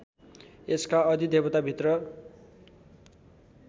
यसका अधिदेवता मित्र